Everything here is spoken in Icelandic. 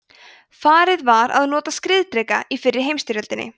farið var að nota skriðdreka í fyrri heimsstyrjöldinni